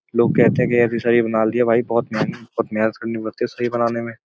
लोग कहते हैं कि ऐसी शरीर बना लिया भाई बहोत मेहन मेहनत करनी पड़ती है शरीर बनाने में।